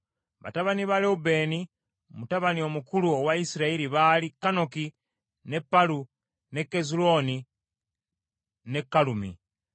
Batabani ba Lewubeeni, mutabani omukulu owa Isirayiri baali: Kanoki, ne Palu, ne Kezulooni ne Kalumi.